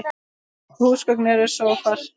Öll húsgögn eru sófar